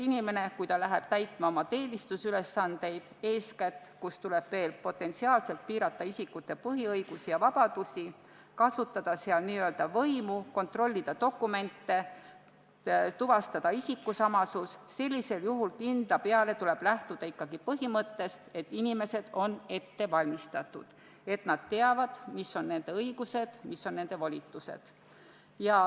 Aga loomulikult, kui inimene läheb täitma oma teenistusülesandeid – eeskätt seal, kus tuleb potentsiaalselt piirata isikute põhiõigusi või vabadusi, kasutada n-ö võimu, kontrollida dokumente, tuvastada isikusamasust –, siis sellisel juhul tuleb kindla peale lähtuda ikkagi põhimõttest, et see inimene on ette valmistatud, ta teab, mis on tema õigused ja mis on tema volitused.